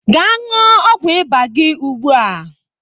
Gaa ñụọ ọgwụ ịba gị ugbu a!